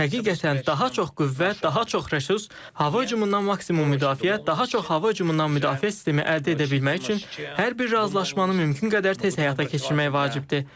Həqiqətən, daha çox qüvvə, daha çox resurs, hava hücumundan maksimum müdafiə, daha çox hava hücumundan müdafiə sistemi əldə edə bilmək üçün hər bir razılaşmanı mümkün qədər tez həyata keçirmək vacibdir.